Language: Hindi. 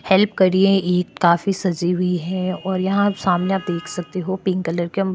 हेल्प कर रही है ईद काफी सजी हुई है और यहाँ सामने आप देख सकते हो पिंक कलर के--